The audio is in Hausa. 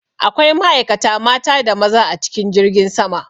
Akwai ma'aikata mata da maza a cikin jirgin sama.